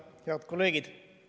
Head kolleegid!